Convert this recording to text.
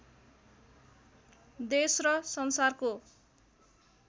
देश र संसारको